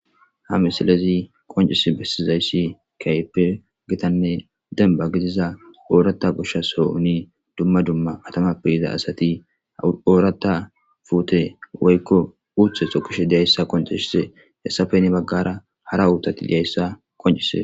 ha misalezi qoncis bessizayssi kaype gitanne demba gidiza oorata goshshasoo uni dumma dumma atamappe yiza asati ooratta fuute woykko uthe so kishe diyayssa konceshise hessafe ni baggara hara uutati diyayssa koncise